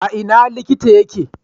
A ina likita yake?